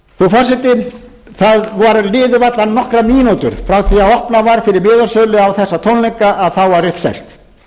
frú forseti það liðu varla nokkrar mínútur frá því að opnað var fyrir miðasölu á þessa tónleika að þá var uppselt